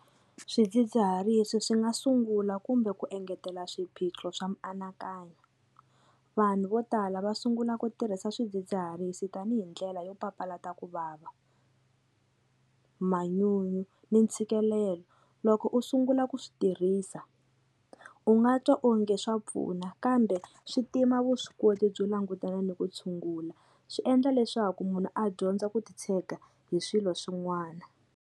Swidzidziharisi swi nga sungula kumbe ku engetela swiphiqo swa mianakanyo vanhu vo tala va sungula ku tirhisa swidzidziharisi tanihi ndlela yo papalata ku vava manyunyu ni ntshikelelo loko u sungula ku swi tirhisa u nga twa onge swa pfuna kambe swi tima vuswikoti byo langutana ni ku tshungula swi endla leswaku munhu a dyondza ku titshega hi swilo swin'wana.